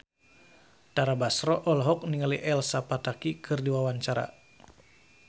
Tara Basro olohok ningali Elsa Pataky keur diwawancara